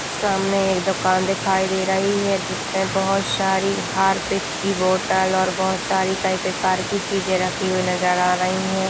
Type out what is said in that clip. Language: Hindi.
सामने एक दुकान दिखाई दे रही है जिसमे बहुत सारी हार्पिक की बोतल और बहुत सारी कई प्रकार की चीज़े रखी हुई नजर आ रही है।